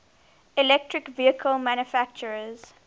electric vehicle manufacturers